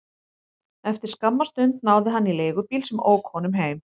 Eftir skamma stund náði hann í leigubíl sem ók honum heim.